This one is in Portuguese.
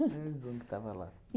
Mais um que estava lá.